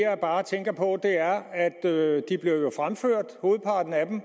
jeg bare tænker på er at hovedparten af dem